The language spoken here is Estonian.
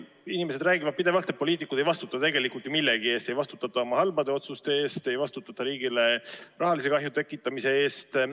Meil inimesed räägivad pidevalt, et poliitikud ei vastuta tegelikult ju millegi eest – ei vastutata oma halbade otsuste eest, ei vastutata riigile rahalise kahju tekitamise eest.